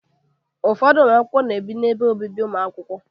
Ụfọdụ ụmụ akwụkwọ na-ebi n'ebe obibi ụmụ akwụkwọ.